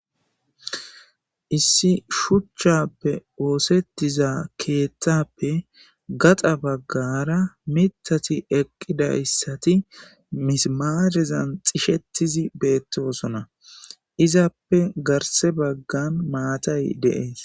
Issi shuchchappe woosettiza keeththappe gaxa baggara mitati eqqidayssati misimaahezan xishettizi beettosona izappe garse baggan maatay dees